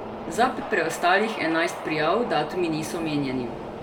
Za preostalih enajst prijav datumi niso omenjeni.